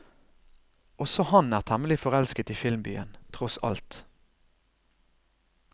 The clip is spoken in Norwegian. Også han er hemmelig forelsket i filmbyen, tross alt.